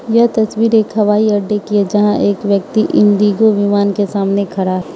यह तस्वीर एक हवाई अड्डे की है जहां एक व्यक्ति इंडिगो विमान के सामने खड़ा --